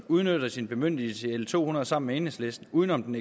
udnytter sin bemyndigelse i lovforslaget l to hundrede sammen med enhedslisten uden om den